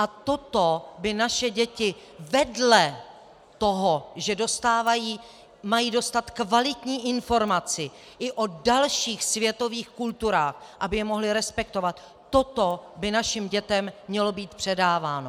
A toto by našim dětem vedle toho, že mají dostat kvalitní informaci i o dalších světových kulturách, aby je mohly respektovat, toto by našim dětem mělo být předáváno.